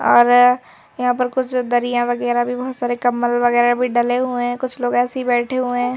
ओर यहां पर कुछ दरिया वगैरह भी बहोत सारे कंबल वगैरह भी डाले हुए हैं कुछ लोग ऐसी ही बैठे हुए हैं।